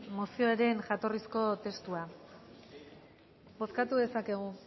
mozioaren jatorrizko testua bozkatu dezakegu